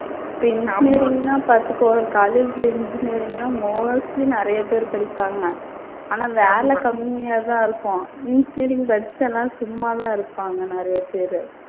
இப்ப engineering ன்னா பார்த்துக்கோ ஒரு college ல engineering ன்னா mostly நிறைய பேரு படிப்பாங்க ஆனா வேலை கம்மியா தான் இருக்கும். engineering படிச்சுட்டு எல்லாம் சும்மா தான் இருப்பாங்க நிறைய பேரு.